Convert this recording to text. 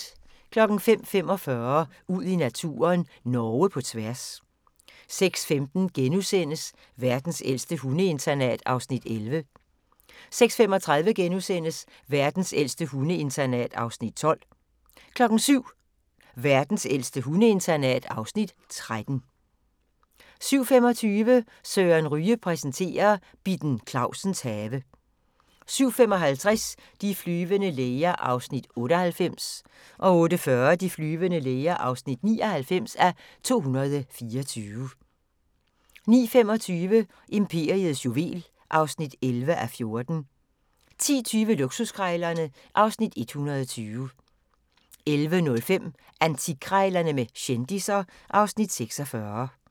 05:45: Ud i naturen: Norge på tværs 06:15: Verdens ældste hundeinternat (Afs. 11)* 06:35: Verdens ældste hundeinternat (Afs. 12)* 07:00: Verdens ældste hundeinternat (Afs. 13) 07:25: Søren Ryge præsenterer: Bitten Clausens have 07:55: De flyvende læger (98:224) 08:40: De flyvende læger (99:224) 09:25: Imperiets juvel (11:14) 10:20: Luksuskrejlerne (Afs. 120) 11:05: Antikkrejlerne med kendisser (Afs. 46)